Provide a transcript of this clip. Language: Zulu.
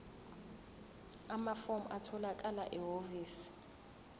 amafomu atholakala ehhovisi